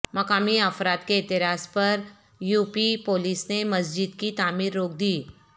مقامی افراد کے اعتراض پر یو پی پولیس نے مسجد کی تعمیر روک دی